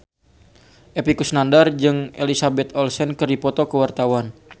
Epy Kusnandar jeung Elizabeth Olsen keur dipoto ku wartawan